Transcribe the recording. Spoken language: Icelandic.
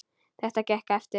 Þetta gekk eftir.